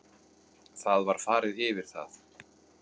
Það var farið yfir það